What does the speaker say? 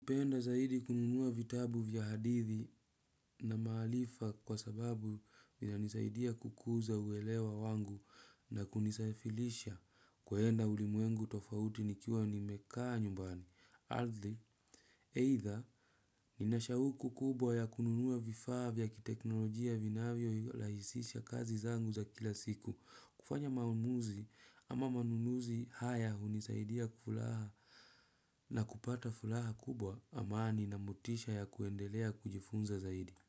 Kupenda zaidi kununuwa vitabu vya hadithi na maharifa kwa sababu vinanisaidia kukuza uelewa wangu na kunisafilisha kuenda ulimwengu tofauti nikiwa nimekaa nyumbani. Adli, eitha, ninashauku kubwa ya kununua vifaa vya kiteknolojia vinavyo rahisisha kazi zangu za kila siku. Kufanya maamuzi ama manunuzi haya hunisaidia kufuraha na kupata furaha kubwa amani na motisha ya kuendelea kujifunza zaidi.